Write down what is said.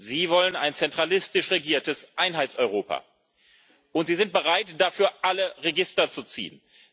Sie wollen ein zentralistisch regiertes Einheitseuropa. Und Sie sind bereit, dafür alle Register zu ziehen.